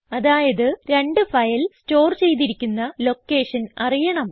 അതായത് രണ്ട് ഫയലും സ്റ്റോർ ചെയ്തിരിക്കുന്ന ലൊക്കേഷൻ അറിയണം